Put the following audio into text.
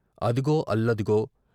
అదుగో అల్ల దుగో